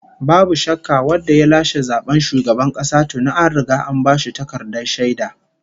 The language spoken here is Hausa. Babu shakka, wanda ya lashe zaben shugaban kasa tuni an riga an bashi takardar shaida!